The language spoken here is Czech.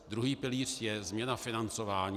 Druhý pilíř je změna financování.